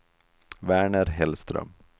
Verner Hellström